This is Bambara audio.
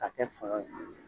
A kɛ